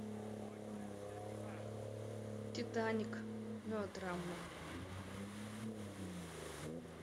титаник мелодрама